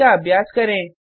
इसका अभ्यास करें